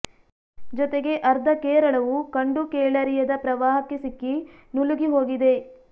ಜೊತೆಗೆ ಅರ್ಧ ಕೇರಳವು ಕಂಡು ಕೇಳರಿಯದ ಪ್ರವಾಹಕ್ಕೆ ಸಿಕ್ಕಿ ನುಲುಗಿ ಹೋಗಿದೆ